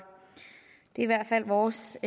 i hvert fald vores